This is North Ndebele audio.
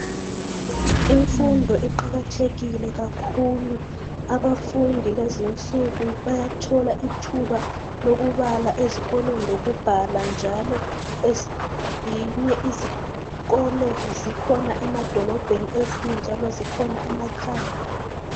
Imfundo iqakathekile kakhulu. Abafundi kulezinsuku bayathola ithuba lokubala ezikolweni lokubhala njalo. Ezinye izikolo zikhona emadolobheni ezinye njalo zikhona emakhaya.